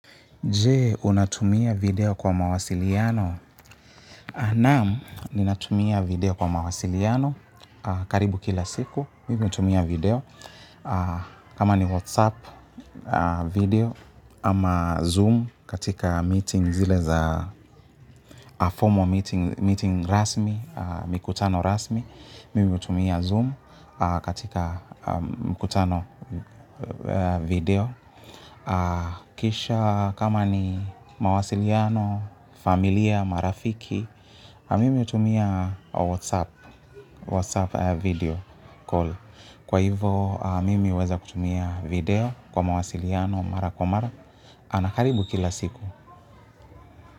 Jee, unatumia video kwa mawasiliano? Naam, ninatumia video kwa mawasiliano. Karibu kila siku, mimi hutumia video. Kama ni WhatsApp video, ama Zoom katika meeting zile za formal, meeting rasmi, mikutano rasmi. Mimi hutumia Zoom katika mikutano ya video. Kisha kama ni mawasiliano, familia, marafiki mimi hutumia WhatsApp video call, kwa hivo mimi huweza kutumia video kwa mawasiliano mara kwa mara na karibu kila siku.